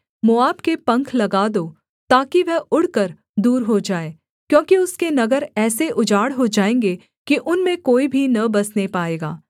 मोआब के पंख लगा दो ताकि वह उड़कर दूर हो जाए क्योंकि उसके नगर ऐसे उजाड़ हो जाएँगे कि उनमें कोई भी न बसने पाएगा